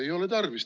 Ei ole tarvis!